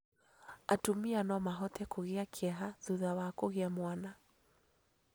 Atumia no mahote kũgia kĩeha thutha wa kũgĩa mwana,